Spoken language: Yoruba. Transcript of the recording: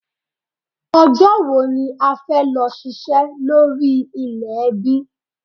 Ọjọ́ wò ní a fẹ́ lọ ṣiṣẹ́ lórí ilẹ̀ ẹbí?